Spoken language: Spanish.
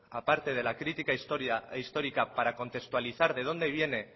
aparte de la crítica histórica para contextualizar de dónde viene